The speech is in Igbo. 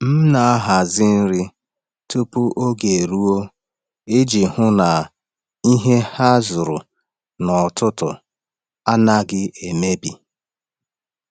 M na-ahazi nri tupu oge eruo iji hụ na ihe a zụrụ n’ọtụtù anaghị emebi.